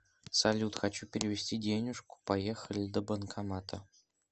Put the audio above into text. салют хочу перевести денежку поехали до банкомата